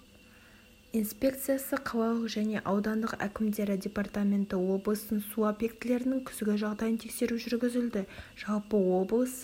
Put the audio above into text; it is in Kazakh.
инспекциясы қалалық және аудандық әкімдіктері департаменті облыстың су объектілерінің күзгі жағдайын тексеру жүргізілді жалпы облыс